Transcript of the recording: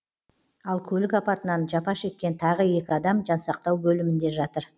ал көлік апатынан жапа шеккен тағы екі адам жансақтау бөлімінде жатыр